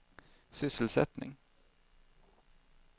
sysselsättning